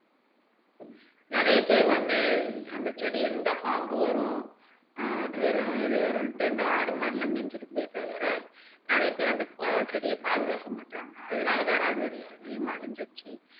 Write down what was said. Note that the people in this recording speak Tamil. நிறைய பேர் வந்து அந்த செடியை இருந்தா பாம்பு வரும் ஆஹ் அது வரும் இது வரும்னுட்டு இந்த ஆடு மாடு எல்லாம் மேஞ்சுட்டு போயிடுதா வேற நிறைய பேரு ப அந்த செடியை பாதுக்கக்க மாட்றாங்க அதனால் தான் ராஜதுரை அதிகமா அழிஞ்சுடுச்சு